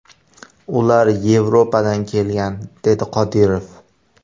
Ular Yevropadan kelgan”, dedi Qodirov.